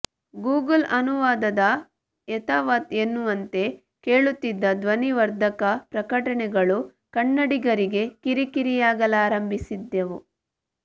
Google ಅನುವಾದದ ಯಥಾವತ್ ಎನ್ನುವಂತೆ ಕೇಳುತ್ತಿದ್ದ ಧ್ವನಿವರ್ಧಕ ಪ್ರಕಟಣೆಗಳೂ ಕನ್ನಡಿಗರಿಗೆ ಕಿರಿಕಿಯಾಗಲಾರಂಭಿಸಿದ್ದವು